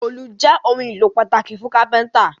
Òòlù jé òun ìlò pataki fun kápẹ́ńtà